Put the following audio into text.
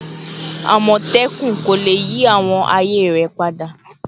Amotekun ko le yi awọn aaye rẹ pada